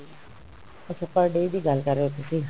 ਅੱਛਾ per day ਦੀ ਗੱਲ ਕਰ ਰਹੇ ਹੋ ਤੁਸੀਂ